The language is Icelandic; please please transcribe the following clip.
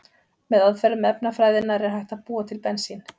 Með aðferðum efnafræðinnar er hægt að búa til bensín.